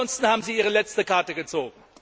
Ansonsten haben Sie Ihre letzte Karte gezogen.